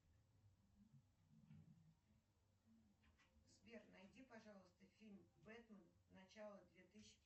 сбер найди пожалуйста фильм юэтмен начало две тысячи